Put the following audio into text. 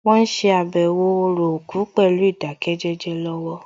Wọ́n ṣe àbẹ̀wò orò òkú pẹ̀lú ìdákẹ́jẹ́jẹ́ lọ́wọ́